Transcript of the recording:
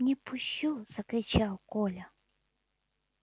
не пущу закричал коля